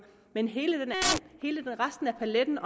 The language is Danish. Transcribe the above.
men hele resten af paletten